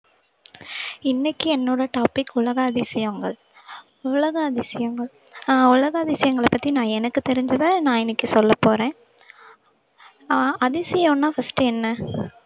இன்னைக்கு என்னோட topic உலக அதிசயங்கள் உலக அதிசயங்கள் அஹ் உலக அதிசயங்களப் பத்தி நான் எனக்குத் தெரிஞ்சத நான் இன்னைக்குச் சொல்லப் போறேன் அஹ் அதிசயம்னா first உ என்ன